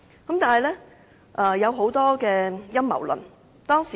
可是，當時有許多陰謀論。